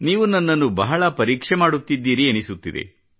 ನೀವು ನನ್ನನ್ನು ಬಹಳ ಪರೀಕ್ಷೆ ಮಾಡುತ್ತಿದ್ದೀರಿ ಎನ್ನಿಸುತ್ತಿದೆ